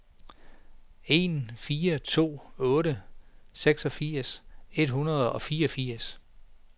en fire to otte seksogfirs et hundrede og fireogfirs